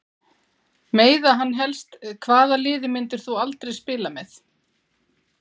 Meiða hann helst Hvaða liði myndir þú aldrei spila með?